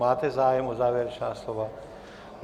Máte zájem o závěrečná slova?